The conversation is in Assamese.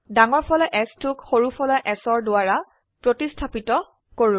ডাঙৰ ফলা Sটোক সৰু ফলা s দ্বাৰা প্ৰতিস্থাপিত কৰো